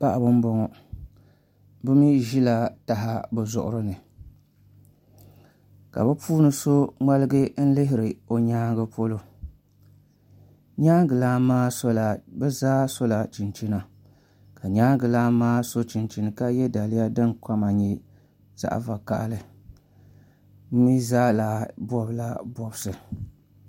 Paɣaba n boŋo bi mii ʒila taha bi zuɣuri ni ka bi puuni so ŋmaligi lihiri o nyaangi polo bi zaa sola chinchina ka nyaangi lan maa so chinchini ka yɛ daliya din kama nyɛ zaɣ vakaɣali bi mii zaa bobla bobsi